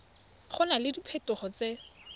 go na le diphetogo tse